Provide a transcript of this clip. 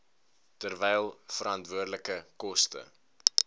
terwyl veranderlike koste